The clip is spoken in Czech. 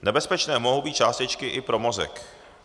Nebezpečné mohou být částečky i pro mozek.